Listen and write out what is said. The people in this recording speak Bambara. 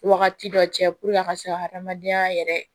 Wagati dɔ cɛ a ka se ka adamadenya yɛrɛ